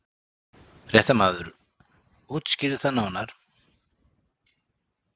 Fréttamaður: Útskýrðu það nánar?